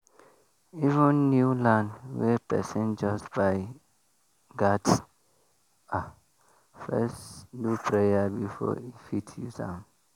even new land wey person just buy gats first do prayer before e fit use am.